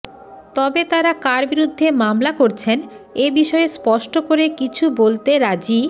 তবে তারা কার বিরুদ্ধে মামলা করছেন এ বিষয়ে স্পষ্ট করে কিছু বলতে রাজি